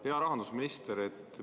Hea rahandusminister!